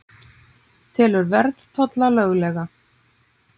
Telur verðtolla löglega